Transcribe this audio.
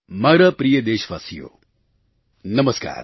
મારા પ્રિય દેશવાસીઓ નમસ્કાર